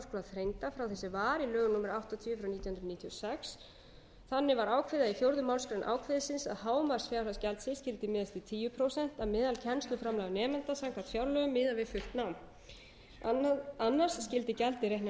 þrengdar frá því sem var í lögum númer áttatíu nítján hundruð níutíu og sex þannig var ákveðið í fjórðu málsgrein ákvæðisins að hámarksfjárhæð gjaldsins skyldi miðast við tíu prósent af meðalkennsluframlagi á nemenda samkvæmt fjárlögum miðað við fullt nám annars skyldi gjaldið reiknast hlutfallslega miðað við